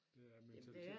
Det er mentalitet